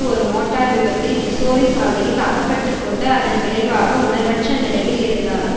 ஒரு மோட்டார் விபத்தில் மிசோரி சாலையில் அகப்பட்டு கொண்டு அதன் விளைவாக உணர்வற்ற நிலையில் இருந்தார்